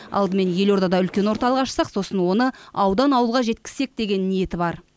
алдымен елордада үлкен орталық ашсақ сосын оны аудан ауылға жеткізсек деген ниеті бар